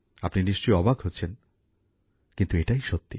আপনি নিশ্চই অবাক হচ্ছেন কিন্তু এটাই সত্যি